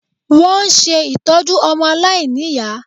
Wọ́n ń ṣe ìtọ́jú ọmọ aláìníyàá